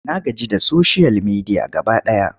Na gaji da soshiyal media gaba ɗaya.